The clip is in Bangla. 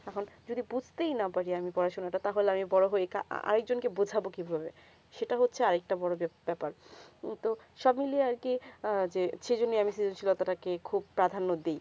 আখন যদি বুঝতে ই না পারি পড়াশোনা তা তাহলে আমি বোরো হয়ে আ এক জন কে বোজাবো কি করে সেটা হচ্ছে আর একটা আর একটা বেবস্তা পার তো সব মিলিয়ে আর কি যে সেই জন্যে আমি সৃজনশীল ব্যাপার তা কে খুব প্রধান দি